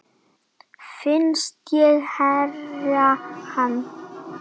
Finnst ég heyra hana.